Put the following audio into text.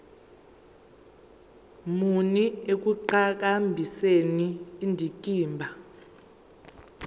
muni ekuqhakambiseni indikimba